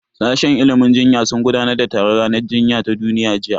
Sashen ilimin jinya sun gudanar da taron ranar jinya ta duniya jiya